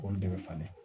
Olu de bɛ falen